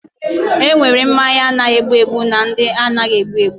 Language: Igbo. Enwere mmanya na-egbu egbu na ndị anaghị egbu egbu.